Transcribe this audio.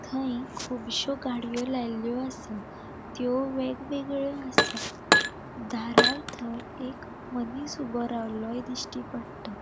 थंय कूबश्यो गाड़ियों लायल्यो असा त्यो वेग वेगळयो असा दारार थंय एक मनिस ऊबो रावलोंय दिश्टी पट्टा.